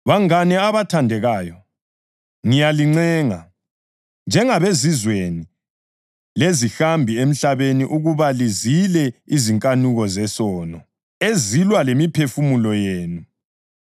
Bangane abathandekayo, ngiyalincenga, njengabezizweni lezihambi emhlabeni ukuba lizile izinkanuko zesono ezilwa lemiphefumulo yenu.